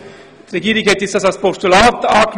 Die Regierung hat den Punkt als Postulat angenommen.